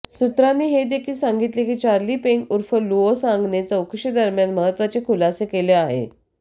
सुत्रांनी हे देखील सांगितले की चार्ली पेंग उर्फ लुओ सांगने चौकशीदरम्यान महत्त्वाचे खुलासे केले आहे